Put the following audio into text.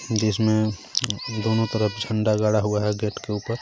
जिसमे दोनों तरफ जंडा गाड़ा हुआ हे गेट के ऊपर.